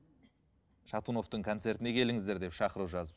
шатуновтың концертіне келіңіздер деп шақыру жазып